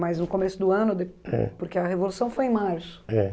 Mas no começo do ano de, é, porque a Revolução foi em março. É.